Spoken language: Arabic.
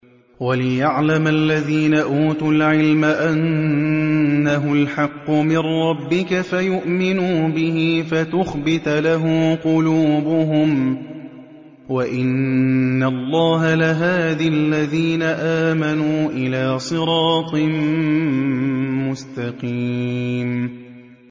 وَلِيَعْلَمَ الَّذِينَ أُوتُوا الْعِلْمَ أَنَّهُ الْحَقُّ مِن رَّبِّكَ فَيُؤْمِنُوا بِهِ فَتُخْبِتَ لَهُ قُلُوبُهُمْ ۗ وَإِنَّ اللَّهَ لَهَادِ الَّذِينَ آمَنُوا إِلَىٰ صِرَاطٍ مُّسْتَقِيمٍ